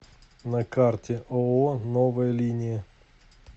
на карте ооо новая линия